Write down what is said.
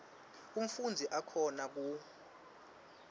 umfundzi akhona ku